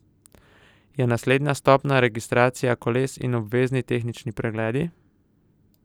Je naslednja stopnja registracija koles in obvezni tehnični pregledi?